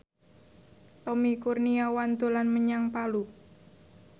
Tommy Kurniawan dolan menyang Palu